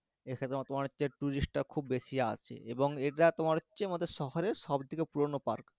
এখানে তোমার হচ্ছে tourist টা খুব বেশি আছে এবং এটা তোমার হচ্ছে আমাদের শহরের সবথেকে পুরনো park